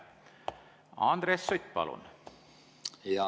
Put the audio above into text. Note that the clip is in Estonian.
Andres Sutt, palun!